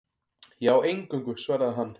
Já, eingöngu, svaraði hann.